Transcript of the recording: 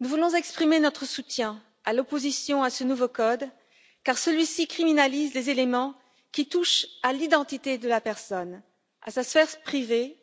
Nous voulons exprimer notre soutien à l'opposition à ce nouveau code car celui ci criminalise les éléments qui touchent à l'identité de la personne, à sa sphère privée,